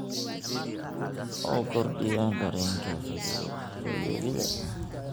oo kordhiya dareenka fayoobida.